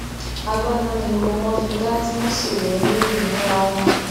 agbada ni gbogbo wọn fi dá tí wọn sì wọ ọ lórí ìmúra wọn